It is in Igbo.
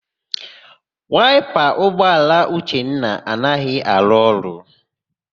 Waịpa ụgbọala Uchenna anaghị arụ ọrụ.